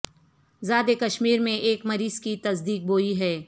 زا د کشمیر میں ایک مریض کی تصدیق ہوئی ہے